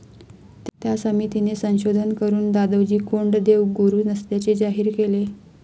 त्या समितीने संशोधन करून दादोजी कोंडदेव गुरु नसल्याचे जाहीर केले.